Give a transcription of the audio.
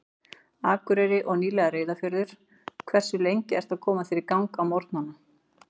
Akureyri og nýlega Reyðarfjörður Hversu lengi ertu að koma þér í gang á morgnanna?